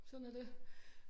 Sådan er det